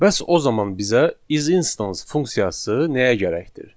Bəs o zaman bizə is instance funksiyası nəyə gərəkdir?